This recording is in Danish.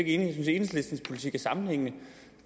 enhedslistens politik er sammenhængende